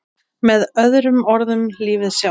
Með öðrum orðum lífið sjálft.